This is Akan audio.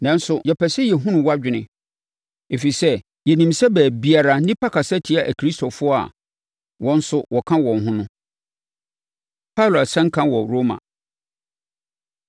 Nanso, yɛpɛ sɛ yɛhunu wʼadwene, ɛfiri sɛ, yɛnim sɛ baabiara nnipa kasa tia Akristofoɔ a wɔn nso woka wɔn ho no.” Paulo Asɛnka Wɔ Roma